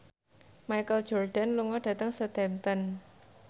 Michael Jordan lunga dhateng Southampton